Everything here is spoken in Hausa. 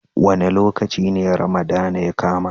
Wa ne lokaci ne Ramadana ya kama?